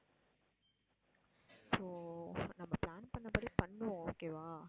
so நம்ம plan பண்ணபடி பண்ணுவோம் okay வா?